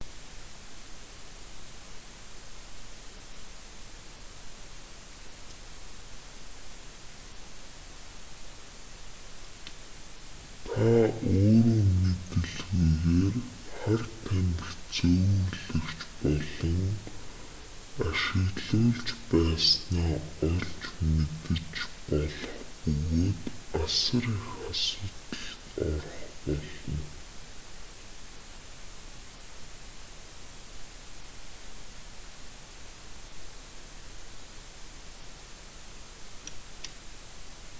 та өөрөө мэдэлгүйгээр хар тамхи зөөвөрлөгч болон ашиглуулж байснаа олж мэдэж болох бөгөөд асар их асуудалд орох болно